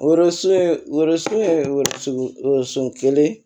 kelen